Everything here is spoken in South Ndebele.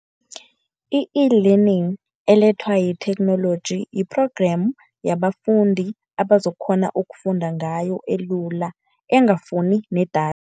I-eLearning elethwa yitheknoloji yi-programme yabafundi abazokukghona ukufunda ngayo elula engafuni